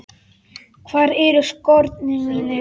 Hvar eru skórnir mínir?